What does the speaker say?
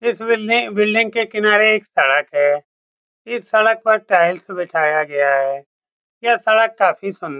इस बिल्डिंग के किनारे एक सड़क है इस सड़क पर टाइल्स बिठाया गया हैं यह सड़क काफी सुन्दर --